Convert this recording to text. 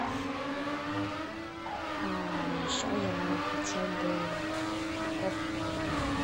а еще я хотел бы кока колу